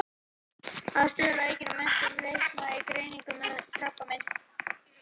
Að stuðla að aukinni menntun lækna í greiningu og meðferð krabbameins.